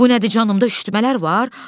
Bu nədir canımda üşütmələr var?